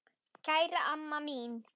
Kæra amma mín.